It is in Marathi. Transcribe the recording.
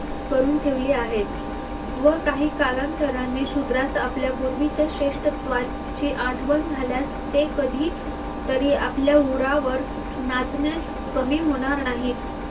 करून ठेवली आहेत व काही कालांतराने शुद्रास आपल्या पूर्वीच्या श्रेष्ठत्वाची आठवण झाल्यास ते कधी तरी आपल्या उरावर नाचण्यास कमी होणार नाहीत